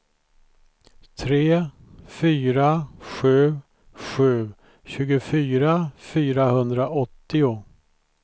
tre fyra sju sju tjugofyra fyrahundraåttio